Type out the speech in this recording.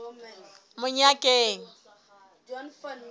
monyakeng